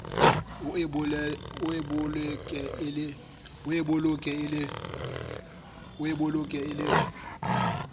o e boleke e le